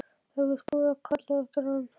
Það er víst búið að kalla eftir rann